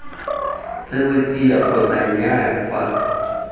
tsewe tsia kgotsa nnyaa fa